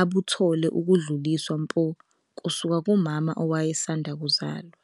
abuthole ukudluliswa mpo kusuka kumama owayesanda kuzalwa.